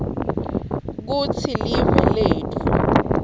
kutsi live letfu